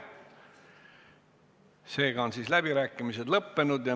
Seega on läbirääkimised lõppenud.